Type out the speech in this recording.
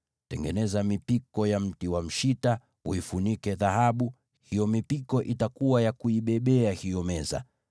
Tengeneza mipiko hiyo kwa mbao za mshita, uifunike na dhahabu, uitumie kubeba hiyo meza.